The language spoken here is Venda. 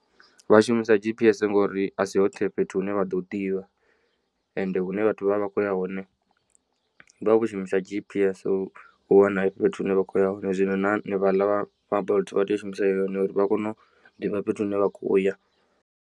Vha shumisa G_P_S ngori asi hoṱhe fhethu hune vha ḓo hu ḓivha ende hune vhathu vha vha vha kho ya hone vha vha vho shumisa G_P_S u wana fhethu hune vha khoya hone zwino na hanevhaḽa vha bolt vha tea u shumisa yone uri vha kone u ḓivha fhethu hune vha khoya.